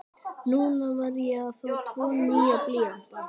Núna var ég að fá tvo nýja blýanta.